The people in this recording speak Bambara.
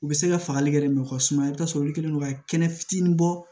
U bɛ se ka fagali kɛ ka suma i bɛ taa sɔrɔ olu kɛlen don ka kɛnɛ fitinin bɔ